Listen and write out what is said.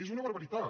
és una barbaritat